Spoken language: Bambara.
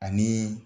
Ani